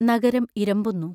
നഗരം ഇരമ്പുന്നു.